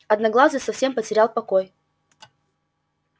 одноглазый совсем потерял покой